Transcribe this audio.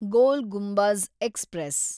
ಗೋಲ್ Gumbaz express